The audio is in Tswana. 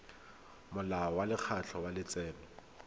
molao wa lekgetho wa letseno